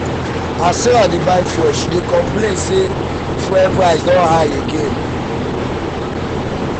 as sarah dey buy fuel she dey complain say fuel complain say fuel price don high again.